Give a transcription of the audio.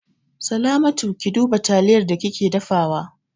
Salamatu, Ki duba taliyar da kike dafawa!